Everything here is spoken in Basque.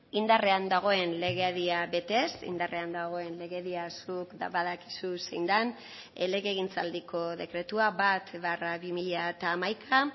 indarrean dagoen legedia betez indarrean dagoen legedia zuk badakizu zein den legegintzaldiko dekretua bat barra bi mila hamaika